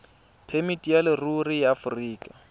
phemiti ya leruri ya aforika